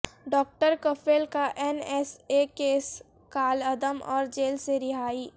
doctor Kafeel کا N S A case کالعدم اور جیل سے رہائی